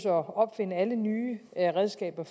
at opfinde alle nye redskaber